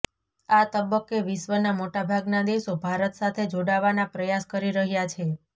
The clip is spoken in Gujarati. આ તબક્કે વિશ્વના મોટાભાગના દેશો ભારત સાથે જોડાવાના પ્રયાસ કરી રહ્યા છે